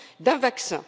d'un vaccin?